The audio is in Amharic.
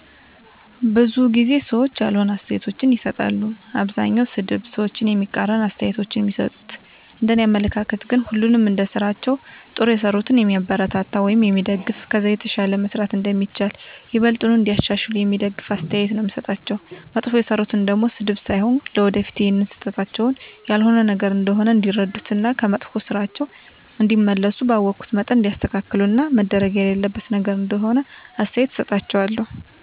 ብዙ ጊዜ ሰዎች ያልሆነ አስተያየቶችን ይሰጣሉ። አብዛኛዉ ሰድብ፣ ሰዎችን የሚቃረን አስተያየቶች ነዉ እሚሰጡት፤ እንደኔ አመለካከት ግን ሁሉንም እንደስራቸዉ ጥሩ የሰሩትን የሚያበረታታ ወይም የሚደገፍ ከዛ የተሻለ መስራት እንደሚቻል፣ ይበልጥኑ እንዲያሻሽሉ የሚደግፍ አስተያየት ነዉ የምሰጣቸዉ፣ መጥፎ የሰሩትን ደሞ ስድብ ሳይሆን ለወደፊት ይሀን ስህተታቸዉን ያልሆነ ነገር እንደሆነ እንዲረዱት እና ከመጥፋ ስራቸዉ እንዲመለሱ ባወኩት መጠን እንዲያስተካክሉት እና መደረግ የሌለበት ነገር እንደሆነ አስተያየት እሰጣቸዋለሁ።